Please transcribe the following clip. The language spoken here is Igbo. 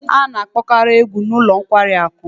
A na-akpokari egwu n'ulo nkwari aku